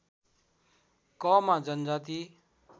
क मा जनजाति